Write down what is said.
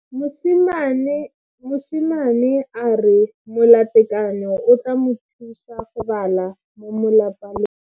Mosimane a re molatekanyô o tla mo thusa go bala mo molapalong.